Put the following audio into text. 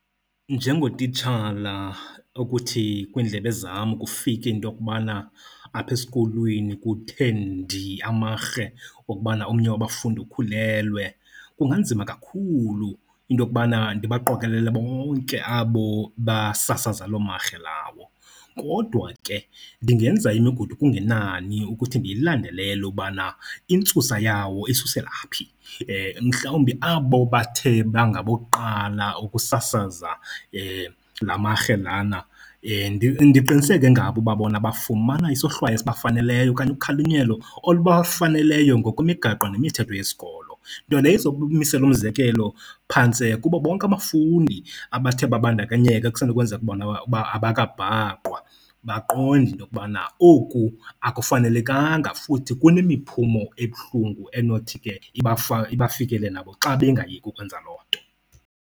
Njengotitshala okuthi kwindlebe zam kufike into yokubana apha eskolweni kuthe ndi amarhe wokubana omnye wabafundi ukhulelwe kunganzima kakhulu into yokubana ndibaqokelele bonke abo basasaza loo marhe lawo. Kodwa ke ndingenza imigudu kungenani ukuthi ndiyilandelele ukubana intsusa yawo isusela phi. Mhlawumbi abo bathe bangabokuqala ukusasaza la marhe lana, ndiqiniseke ngabo uba bona bafumana isohlwayo esibafaneleyo okanye ukhalinyelo olubafaneleyo ngokwemigaqo nemithetho yesikolo. Nto leyo izokumisela umzekelo phantse bonke abafundi abathe babandakanyeka, ekusenokwenzeka bona abakabhaqwa, baqonde into yokubana oku akufanelekanga futhi kunemiphumo ebuhlungu enothi ke ibafikele nabo xa bengayeki ukwenza loo nto.